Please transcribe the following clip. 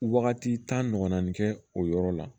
Wagati tan ɲɔgɔnna ni kɛ o yɔrɔ la